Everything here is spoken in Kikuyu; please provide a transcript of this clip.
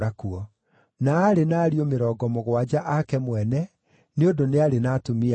Na aarĩ na ariũ mĩrongo mũgwanja ake mwene, nĩ ũndũ nĩ aarĩ na atumia aingĩ.